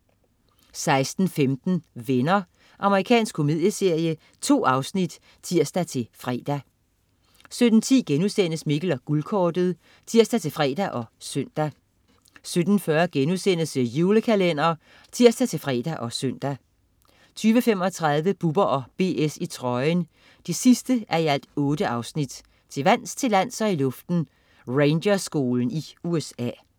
16.15 Venner. Amerikansk komedieserie. 2 afsnit (tirs-fre) 17.10 Mikkel og Guldkortet* (tirs-fre og søn) 17.40 The Julekalender* (tirs-fre og søn) 20.35 Bubber & BS i trøjen 8:8. Til vands, til lands og i luften. Rangerskolen i USA